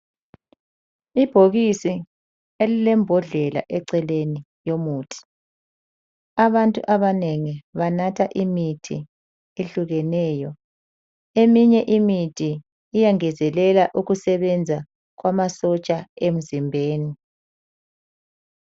Ibhokisi elilembodlela eceleni yomuthi. Abantu abanengi banatha imithi ehlukeneyo. Eminye imithi iyangezelela ukusebenza kwamasotsha emzimbeni.